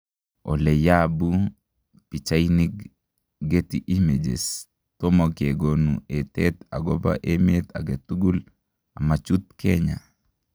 oleyabu pichainig Getty Images �toma kegonu etet agoba emet agetugul amachut Kenya